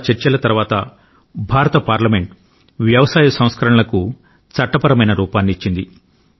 చాలా చర్చల తరువాత భారత పార్లమెంట్ వ్యవసాయ సంస్కరణలకు చట్టపరమైన రూపాన్ని ఇచ్చింది